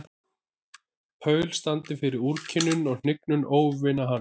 Paul standi fyrir úrkynjun og hnignun óvina hans.